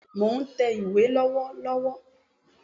Bẹ́ẹ̀ni mò n tẹ̀ ìwé lọ́wọ́lọ́wọ́